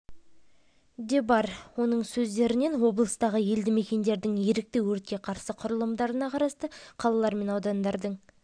де бар оның сөздерінен облыстағы елді мекендердің ерікті өртке қарсы құралымдарына қарасты қалалар мен аудандардың